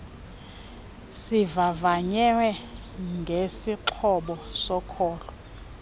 zivavanywe ngesixhobo soko